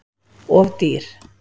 Of dýr